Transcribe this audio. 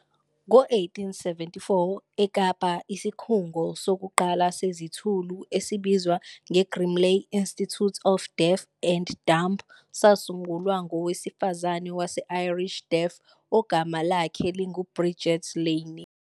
Ngo-1874 eKapa, isikhungo sokuqala sezithulu esibizwa "nge-Grimley Institute for Deaf and Dumb" sasungulwa ngowesifazane wase-Irish Deaf ogama lakhe lingu-Bridget Lynne.